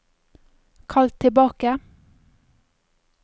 kall tilbake